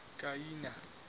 kiana